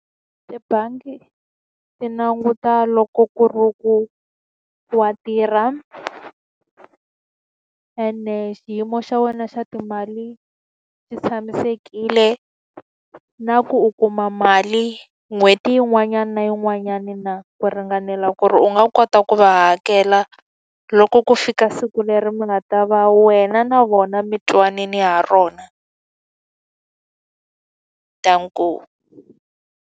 Tibangi ti languta loko ku ri ku wa tirha ene xiyimo xa wena xa timali xi tshamisekile, na ku u kuma mali n'hweti yin'wana na yin'wanyana na ku ringanela ku ri u nga kota ku va hakela loko ku fika siku leri munhu a ta va wena na vona mi twanane ha rona. .